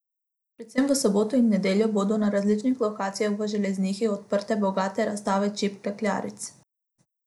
Predvsem v soboto in nedeljo bodo na različnih lokacijah v Železnikih odprte bogate razstave čipk klekljaric.